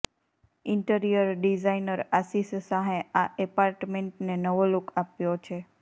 interior designer Ashish શાહે આ અપાર્ટમેન્ટને નવો લુક આપ્યો છે